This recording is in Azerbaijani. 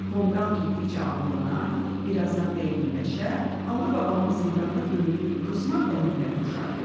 Tonqal getdikcə alovlanar, bir azdan dəyirmiləşər, "Alı baba"nın zindanda döydüyü qızmar dəmirə oxşardı.